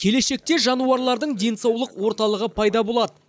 келешекте жануарлардың денсаулық орталығы пайда болады